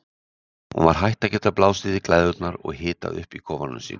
Hún var hætt að geta blásið í glæðurnar og hitað upp í kofanum sínum.